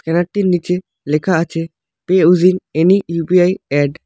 ক্যানারটির নীচে লেখা আছে pay using any UPI ad.